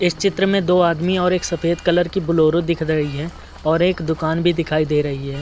इस चित्र में दो आदमी और एक सफ़ेद कलर की ब्लोरो दिख रही है और एक दुकान भी दिखाई दे रही है।